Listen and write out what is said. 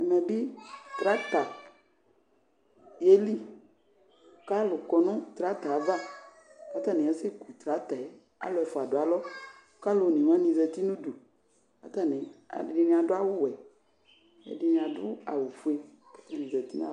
Ɛmɛ bi tractor yeli k'alʋ kɔnʋ tractor y'ava k'atani asɛku tractor yɛ Alu ɛfua dʋ ayava k'alʋ onewani zati n'udu k'atani, ɛdini adʋ awʋ wɛ, ɛdini adʋ awʋ fue k'atani zati n'ayava